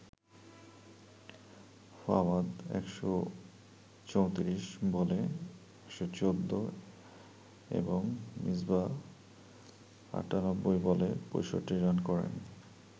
ফাওয়াদ ১৩৪ বলে ১১৪ এবং মিসবাহ ৯৮ বলে ৬৫ রান করেন।